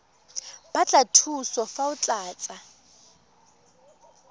batla thuso fa o tlatsa